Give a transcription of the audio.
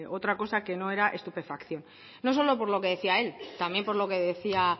otra cosa que no era estupefacción no solo por lo que decía él también por lo que decía